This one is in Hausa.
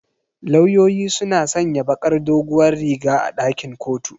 Lauyoyi suna sanya bakar doguwar riga a ɗakin kotu.